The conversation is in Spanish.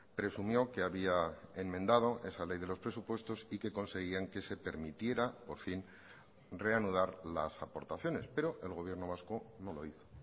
presumió que había enmendado esa ley de los presupuestos y que conseguían que se permitiera por fin reanudar las aportaciones pero el gobierno vasco no lo hizo